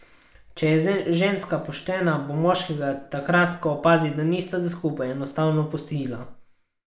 Če je ženska poštena, bo moškega takrat, ko opazi, da nista za skupaj, enostavno pustila.